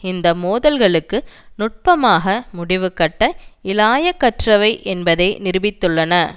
இந்த மோதல்களுக்கு நுட்பமாக முடிவு கட்ட இலாயக்கற்றவை என்பதை நிரூபித்துள்ளன